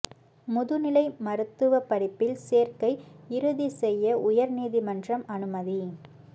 முதுநிலை மருத்துவ படிப்பில் சேர்க்கை இறுதி செய்ய உயர் நீதிமன்றம் அனுமதி